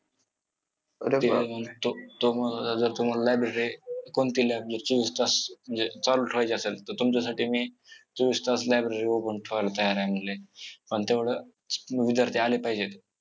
तो तो म्हणत होता जर तुम्हाला library कोणती library ची व्यवस्था म्हणजे चालूं ठेवायची असेल तर तुमच्यासाठी मी चोवीस तास library open ठेवायला तयार आहे म्हंटले पण तेवढं विद्यार्थी आले पाहिजेत.